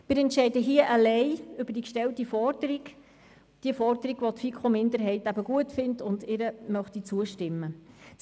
Wir entscheiden hier allein über die Forderung der Motion, welche die FiKo-Minderheit gut findet und welcher sie zustimmen möchte.